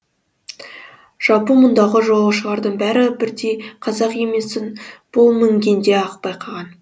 жалпы мұндағы жолаушылардың бәрі бірдей қазақ емесін бұл мінгенде ақ байқаған